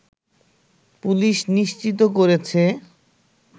police নিশ্চিত করেছে